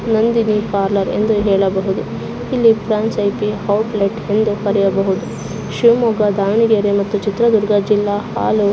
Nandini parlour ಎಂದು ಹೇಳಬಹುದು. ಇಲ್ಲಿ ಫ್ರಾಂಚ್ ಐ.ಪಿ. ಔಟ್ಲೇಟ್ ಎಂದು ಬರೆಯಬಹುದು. ಶಿವಮೊಗ್ಗ ದ್ರಾವನಗೆರೆ ಮತ್ತು ಚಿತ್ರದುರ್ಗ ಹಾಲು--